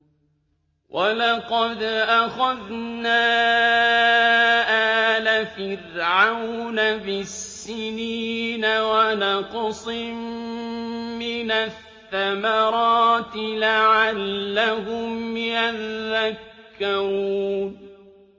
وَلَقَدْ أَخَذْنَا آلَ فِرْعَوْنَ بِالسِّنِينَ وَنَقْصٍ مِّنَ الثَّمَرَاتِ لَعَلَّهُمْ يَذَّكَّرُونَ